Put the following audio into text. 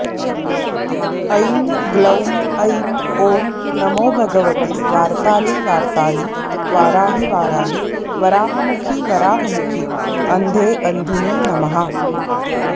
ऐं ग्लौं ऐं ॐ नमो भगवति वार्तालिवार्तालि वाराहि वाराहि वराहमुखि वराहमुखि अन्धे अन्धिनि नमः